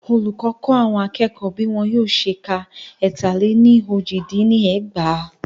Olùkọ kọ́ àwọn akẹ́kọ̀ọ́ bí wọn yóò ṣe kọ étà lẹ ní ójì dín ní ẹgbàá.